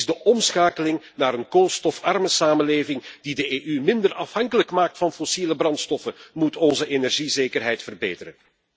Precies de omschakeling naar een koolstofarme samenleving die de EU minder afhankelijk maakt van fossiele brandstoffen, moet onze energiezekerheid verbeteren.